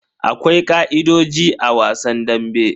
Akwai ka'idojin a wasan dambe.